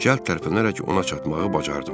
Cəld tərpənərək ona çatmağı bacardım.